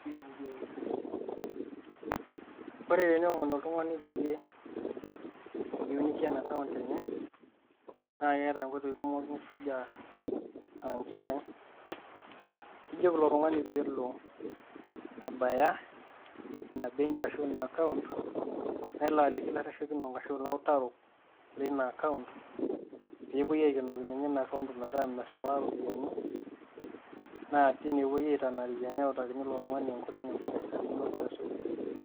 Ore peiye eomonu oltunganni peiye eyou neiken akaont enye, naa keeta nkoitoi kumok nisujaa, um njere ijoki ilo tung'ani peelo abaya ina benki ashu ina akaount, nelo aliki laitashekino ashu lautarok le akaont peepuoi aikenoki ninye iina akaount metaa meiruaya iropiani. Naa teine epuoi atanariye neutakini ilo tung'ani enkoitoi nasharikino peesuj